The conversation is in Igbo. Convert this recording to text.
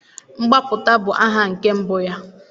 mgbapụta bụ aha nke mbụ ya